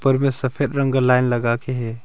पर वे सफेद रंग का लाइन लगा के है।